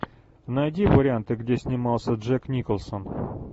найди варианты где снимался джек николсон